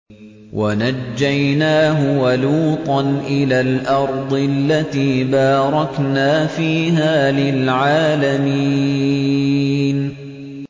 وَنَجَّيْنَاهُ وَلُوطًا إِلَى الْأَرْضِ الَّتِي بَارَكْنَا فِيهَا لِلْعَالَمِينَ